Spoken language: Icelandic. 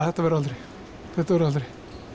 þetta verður aldrei þetta verður aldrei